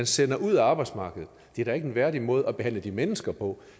sender ud af arbejdsmarkedet det er da ikke en værdig måde at behandle de mennesker på